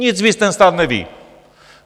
Nic víc ten stát neví.